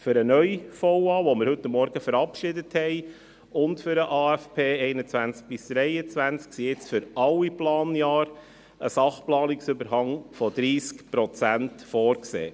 Für den neuen VA, den wir heute Morgen verabschiedet haben, und für den AFP 2021– 2023 ist jetzt für alle Planjahre ein Sachplanungsüberhang von 30 Prozent vorgesehen.